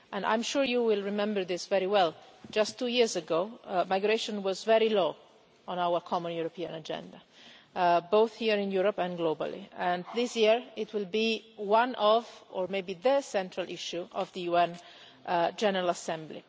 I am sure you will remember this very well just two years ago, migration was very low on our common European agenda, both here in Europe and globally, and this year it will be one of, or maybe the, central issue of the UN General Assembly.